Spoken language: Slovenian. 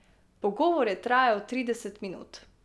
Pogovor je trajal trideset minut.